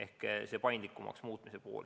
Selline paindlikum kord.